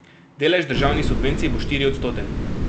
Delež državnih subvencij bo štiriodstoten.